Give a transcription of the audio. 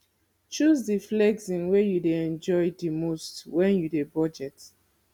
choose di flexing wey you dey enjoy di most when you dey budget